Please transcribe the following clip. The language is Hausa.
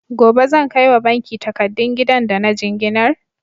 Gobe zan kai wa banki takadun gidan da na jinginar?